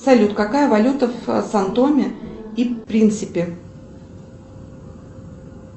салют какая валюта в сан томе и принсипи